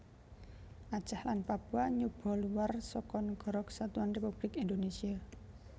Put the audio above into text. Aceh lan Papua nyoba luwar seka Nagara Kesatuan Républik Indonésia